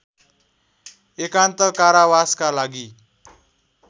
एकान्त कारावासका लागि